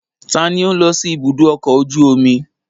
Ta ni ó ń lọ sí ibùdó ọkọ̀ ojú omi?